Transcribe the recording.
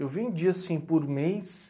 Eu vendia, assim, por mês.